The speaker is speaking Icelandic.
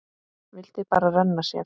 Vildi bara renna sér.